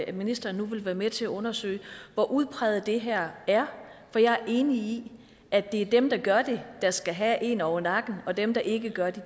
at ministeren nu vil være med til at undersøge hvor udbredt det her er for jeg er enig i at det er dem der gør det der skal have en over nakken og at dem der ikke gør det